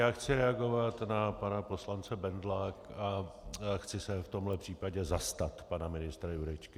Já chci reagovat na pana poslance Bendla a chci se v tomto případě zastat pana ministra Jurečky.